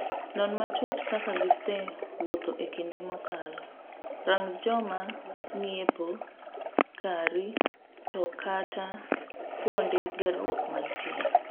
Non matut kaka gisee wuotho ekinde mokalo, rang joma ng'iepo kari to kata kuonde gerruok mantie.